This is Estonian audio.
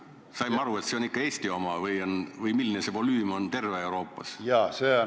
Kas ma sain õigesti aru, et see on ikka Eesti oma, või milline see volüüm on terves Euroopas?